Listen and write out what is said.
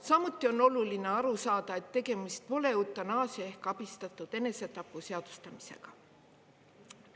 Samuti on oluline aru saada, et tegemist pole eutanaasia ehk abistatud enesetapu seadustamisega.